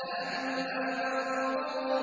فَأَمَّا مَن طَغَىٰ